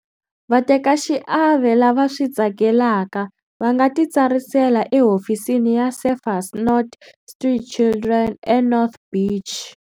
Vatekaxiave lava swi tsakelaka va nga titsarisela Ehofisini ya Surfers Not Street Children eNorth Beach.